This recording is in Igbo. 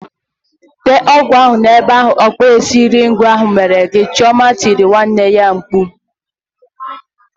Tee ọgwụ ahụ n'ebe ahụ ọkpụisieringo ahụ mere gị ugbu a! "Chioma tirile nwanne ya mkpu.